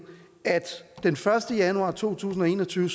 at den første januar to tusind og en og tyve